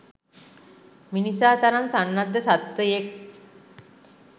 මිනිසා තරම් සන්නද්ධ සත්වයෙක්